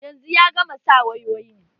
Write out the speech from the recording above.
Yanzu ya gama sa wayoyin